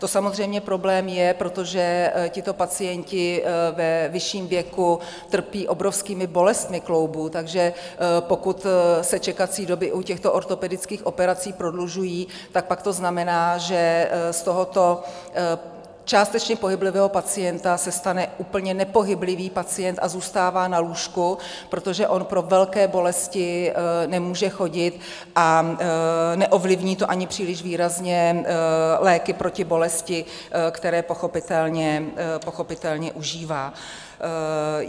To samozřejmě problém je, protože tito pacienti ve vyšším věku trpí obrovskými bolestmi kloubů, takže pokud se čekací doby u těchto ortopedických operací prodlužují, tak pak to znamená, že z tohoto částečně pohyblivého pacienta se stane úplně nepohyblivý pacient a zůstává na lůžku, protože on pro velké bolesti nemůže chodit, a neovlivní to ani příliš výrazně léky proti bolesti, které pochopitelné užívá.